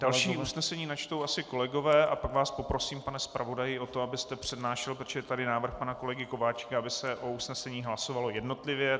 Další usnesení načtou asi kolegové a pak vás poprosím, pane zpravodaji o to, abyste přednášel, protože je tady návrh pana kolegy Kováčika, aby se o usneseních hlasovalo jednotlivě.